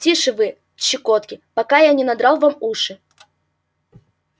тише вы щекотки пока я не надрал вам уши